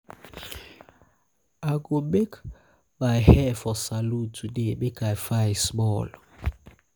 i go make my go make my hair for salon today make i fine small.